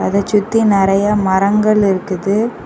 அத சுத்தி நறைய மரங்கள் இருக்குது.